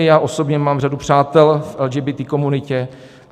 I já osobně mám řadu přátel v LGBT komunitě.